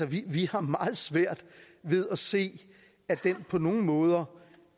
vi har meget svært ved at se at den på nogen måder